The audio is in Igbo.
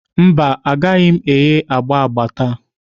Mba, Agaghị m agba agba agba taa